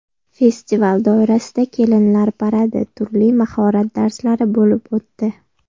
Festival doirasida kelinlar paradi, turli mahorat darslari bo‘lib o‘tdi.